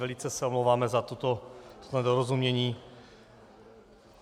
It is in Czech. Velice se omlouváme za toto nedorozumění.